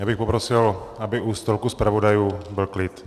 Já bych poprosil, aby u stolku zpravodajů byl klid.